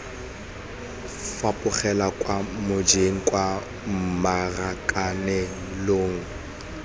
fapogela kwa mojeng kwa marakanelong